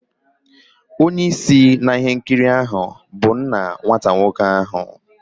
Onye isi na ihe nkiri a bụ nna nwata nwoke ahu